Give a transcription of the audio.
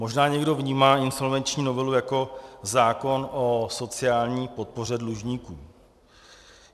Možná někdo vnímá insolvenční novelu jako zákon o sociální podpoře dlužníků.